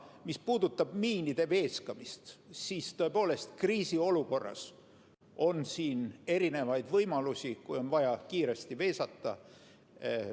Mis puudutab miinide veeskamist, siis tõepoolest, kriisiolukorras on erinevaid võimalusi, kui on vaja kiiresti veesata.